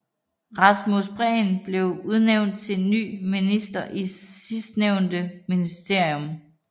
Rasmus Prehn blev udnævnt til ny minister i sidstnævnte ministerium